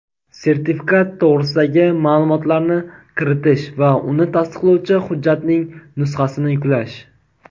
sertifikat to‘g‘risidagi ma’lumotlarni kiritish va uni tasdiqlovchi hujjatning nusxasini yuklash;.